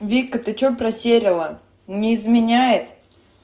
вика ты что потеряла не изменяет